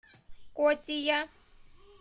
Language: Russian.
котия